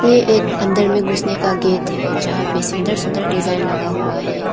ए एक अंदर मे घुसने का गेट है जहां पर सुंदर सुंदर डिजाइन लगा हुआ है।